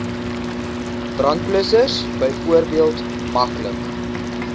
brandblussers byvoorbeeld maklik